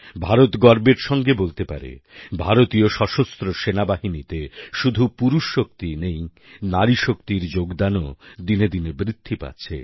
ভারত গর্বের সঙ্গে বলতে পারে ভারতীয় সশস্ত্র সেনাবাহিনীতে শুধু পুরুষ শক্তিই নেই নারীশক্তির যোগদানও দিনে দিনে বৃদ্ধি পাচ্ছে